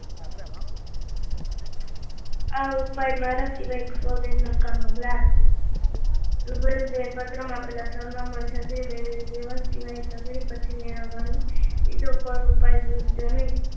આ ઉપાય મારા સિવાય સૌને નકામો લાગ્યો રૂબરૂ જઈને પત્રમાં પેલા સરનામા છત્રી મેળવી લેવા સિવાય છત્રી પાછી મેળવવાનો બીજો કોઈ ઉપાય સૂજ્યો નહીં